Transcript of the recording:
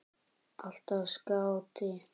Alltaf skáti.